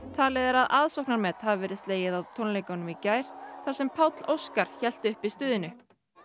talið er að aðsóknarmet hafi verið slegið á tónleikunum í gær þar sem Páll Óskar hélt uppi stuðinu